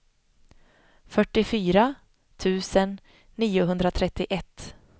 fyrtiofyra tusen niohundratrettioett